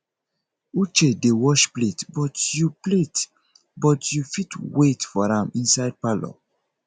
uche dey wash plate but you plate but you fit wait for am inside parlour